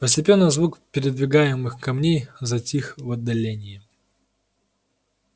постепенно звук передвигаемых камней затих в отдалении